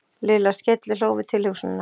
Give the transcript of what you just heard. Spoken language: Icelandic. Lilla skellihló við tilhugsunina.